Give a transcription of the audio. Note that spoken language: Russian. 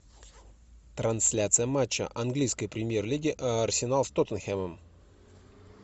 трансляция матча английской премьер лиги арсенал с тоттенхэмом